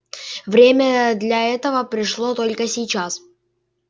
время для этого пришло только сейчас